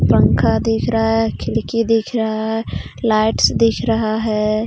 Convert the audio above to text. पंखा दिख रहा है खिड़की दिख रहा है लाइट्स दिख रहा है.